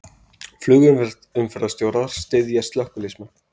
Flugumferðarstjórar styðja slökkviliðsmenn